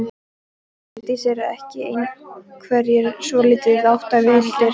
Hjördís: Eru ekki einhverjir svolítið áttavilltir?